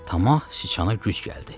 Tamah sıçana güc gəldi.